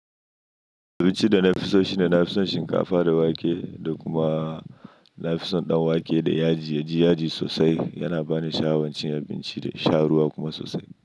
Abinci da nafi so shine nafison shinkafa da wake da kuma nafison danwake da yaji, yaji yaji sosai yana bani sha'awancin abinci da sha ruwa kuma sosai.